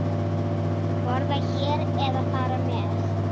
Borða hér eða fara með?